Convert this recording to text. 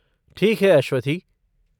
ठीक है अश्वथी।